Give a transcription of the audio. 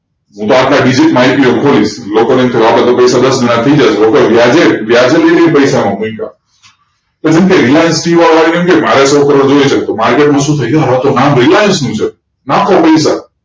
jemke reliance jio વાળા ને કે મારે સો કરોડ જોઈએ છે નામ reliance નું છે